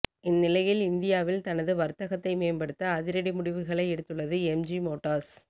இந்நிலையில் இந்தியாவில் தனது வர்த்தகத்தை மேம்படுத்த அதிரடி முடிவுகளை எடுத்துள்ளது எம்ஜி மோட்டார்ஸ்